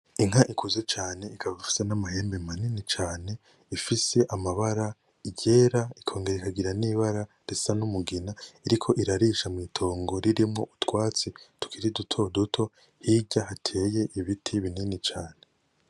Inka ikuze cane, ikaba ifise n'amahembe manini cane; ifise amabara, iryera, ikongera ikagira n'ibara risa n'umugina; iriko irarisha mwitongo ririmwo utwatsi tukiri dutoduto ,hirya hateye ibiti binini cane.